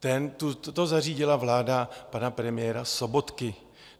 To zařídila vláda pana premiéra Sobotky.